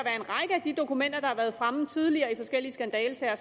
de dokumenter der har været fremme tidligere i forskellige skandalesager